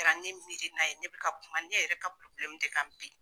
O kɛra ne miiri na ye, ne bi ka kuma ne yɛrɛ ka ti ka bin